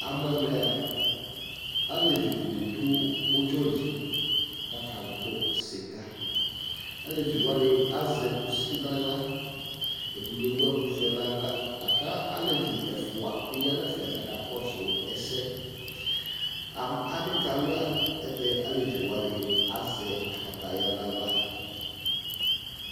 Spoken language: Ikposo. Amu ɛmɛa alevidini du ʊdzɔli akagbɔ sika alevi wani azɛ kusi naɣla ɛdini ewu ɛkuvɛ nu aɣla kalevi efua kakɔsu ɛsɛ adi kalua ayɛlʊtɛ aleviwani azɛ kataya naɣla